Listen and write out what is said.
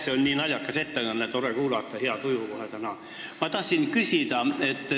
See on nii naljakas ettekanne, et tore kuulata, hea tuju kohe täna.